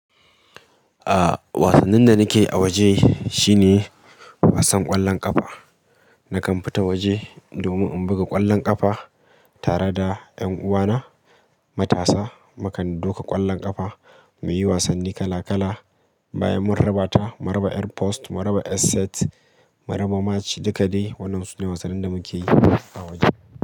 A’a wasannin da nake a waje, shine wasan ƙwallon ƙafa. Nakan fita waje domin in buga ƙwallon ƙafa, tare da ’yan uwa. Na matasa. Mu kan doka ƙwallon ƙafa mu yi wasanni kala-kala. Bayan mun raba ta, mun raba airpost, mun raba asset, mun raba mac duka dai. Waɗannan sune wasannin da muke yi a waje.